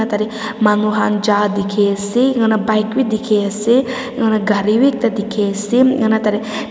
tah teh manu khan ja dikhi ase ena bike bhi dikhi ase na hoina gari bhi ekta dikhi ase ena tah teh--